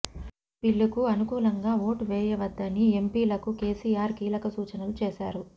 ఈ బిల్లుకు అనుకూలంగా ఓటు వేయవద్దని ఎంపీలకు కేసీఆర్ కీలక సూచనలు చేశారు